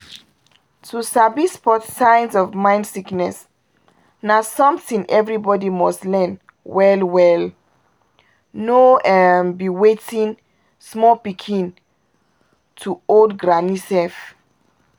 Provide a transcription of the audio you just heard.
to sabi spot signs of mind sickness na something everybody must learn well-well — no be wetin? small pikin to old granny sef